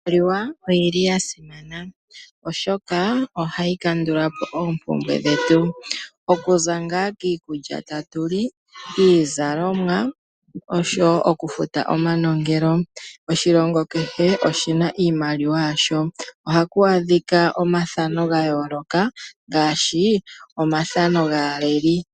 Iimaliwa oyi li ya simana, oshoka ohayi kandula po ooompumbwe dhetu okuza ngaa kiikulya tatu li, kiizalomwa oshowo okufuta omanongelo . Oshilongo kehe oshi na iimaliwa yasho. Ohaku adhika omathano ga yooloka ngaashi omathano gaaleli .